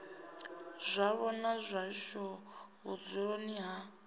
zwavho na zwashu vhudzuloni ha